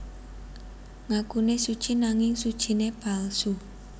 Ngakune suci nanging sucine palsu